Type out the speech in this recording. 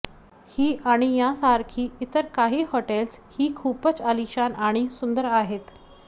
ही आणि यांसारखी इतर काही हॉटेल्स ही खूपच अलिशान आणि सुंदर आहेत